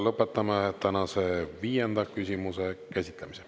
Lõpetame tänase viienda küsimuse käsitlemise.